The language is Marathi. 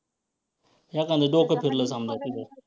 एखांद डोकं फिरलं समजा तिथं